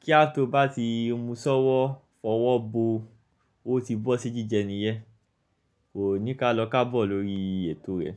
Kí á tó bá ti musọ́wọ́ fọwọ́ bo ó ti bọ́ sí jíjẹ niyẹn. Kò ní ká lọ kábọ̀ lórí ètò rẹ̀.